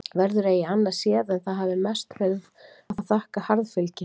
Verður eigi annað séð en það hafi mest verið að þakka harðfylgi